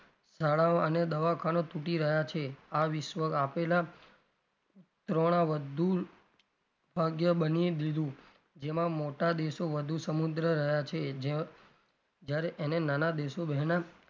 શાળાઓ અને દવાખાના તૂટી રહ્યાં છે આ વિશ્વ આપેલા ભાગ્ય બની દીધું જેમાં મોટા દેશો વધુ સમુદ્ર રહ્યા છે જયારે એને નાના દેશો